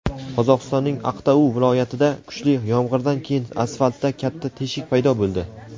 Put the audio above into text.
Qozog‘istonning Aqtau viloyatida kuchli yomg‘irdan keyin asfaltda katta teshik paydo bo‘ldi.